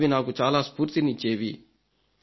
అవి నాకు చాలా స్ఫూర్తినిచ్చేవీ